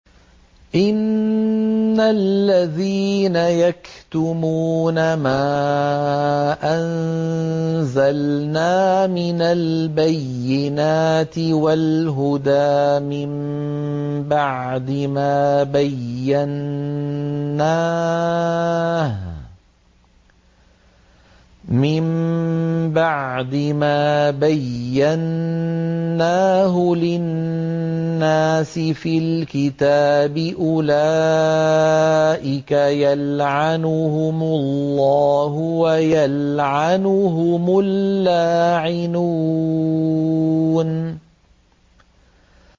إِنَّ الَّذِينَ يَكْتُمُونَ مَا أَنزَلْنَا مِنَ الْبَيِّنَاتِ وَالْهُدَىٰ مِن بَعْدِ مَا بَيَّنَّاهُ لِلنَّاسِ فِي الْكِتَابِ ۙ أُولَٰئِكَ يَلْعَنُهُمُ اللَّهُ وَيَلْعَنُهُمُ اللَّاعِنُونَ